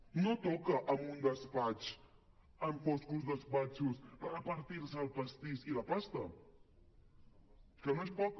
no toca en un despatx en foscos despatxos repartir se els pastís i la pasta que no és poca